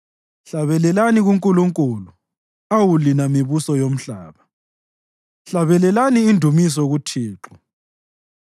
Hlabelelani kuNkulunkulu, awu lina mibuso yomhlaba, hlabelelani indumiso kuThixo,